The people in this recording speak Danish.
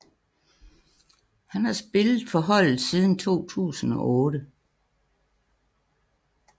Han har spillet for holdet siden 2008